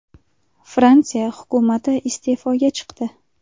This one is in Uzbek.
Fransiya hukumati iste’foga chiqdi.